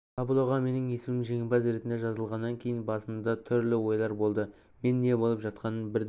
таблоға менің есімім жеңімпаз ретінде жазылғаннан кейін басымда түрлі ойлар болды мен не болып жатқанын бірден